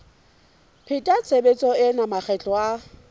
pheta tshebetso ena makgetlo a